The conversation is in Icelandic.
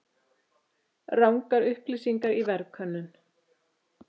Rangar upplýsingar í verðkönnun